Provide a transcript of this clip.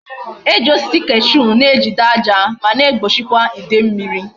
E ji osisi cashew ejide aja ma na egbochikwa ide mmiri